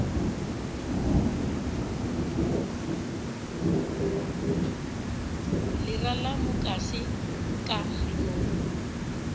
lera la mukase ka ganong